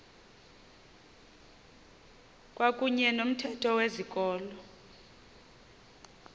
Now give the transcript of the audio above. kwakuyne nomthetho wezikolo